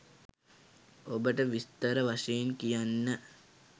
ඔබට විස්තර වශයෙන් කියන්න